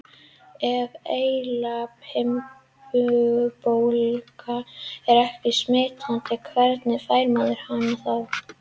Ef heilahimnubólga er ekki smitandi, hvernig fær maður hana þá?